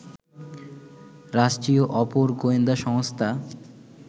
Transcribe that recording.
রাষ্ট্রীয় অপর গোয়েন্দা সংস্থা